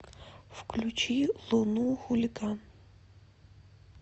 включи луну хулиган